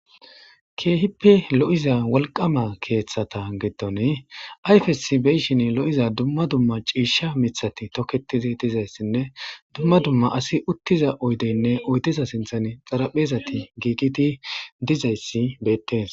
Kehippe lo'iza wolqama kethata giddo ni ayfesi lo'iza dumma dumma cishati mithati toketidi dizaysine dumma dumma asi utiza oydene oydeza sinthen xaraphey gogidi dizaysi betes